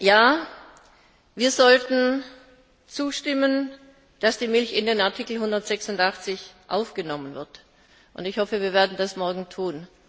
Ja, wir sollten zustimmen, dass die Milch in den Artikel 186 aufgenommen wird, und ich hoffe, dass wir das morgen tun.